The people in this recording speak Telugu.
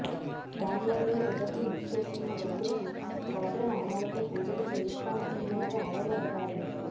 ఆన్లైన్లో టికెట్లు బుక్ చేసుకున్న భక్తులకు గోత్రనామాలతో పూజలు చేయిస్తామంటున్నారు ఆలయ అధికారులు